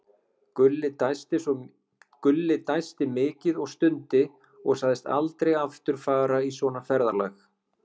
Gulli dæsti mikið og stundi og sagðist aldrei aftur fara í svona ferðalag.